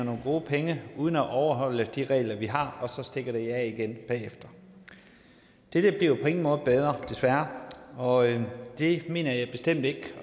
nogle gode penge uden at overholde de regler vi har og så stikker de af igen bagefter dette bliver på ingen måde bedre desværre og det mener jeg bestemt ikke